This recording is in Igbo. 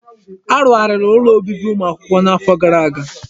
Arugharị ụlọ obibi ụmụ akwụkwọ n'afọ gara aga.